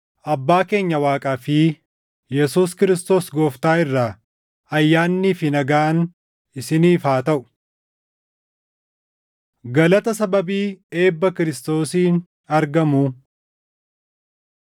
Abbaa keenya Waaqaa fi Yesuus Kiristoos Gooftaa irraa ayyaannii fi nagaan isiniif haa taʼu. Galata Sababii Eebba Kiristoosiin Argamuu